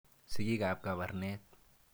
Sigik ap Kabarnet.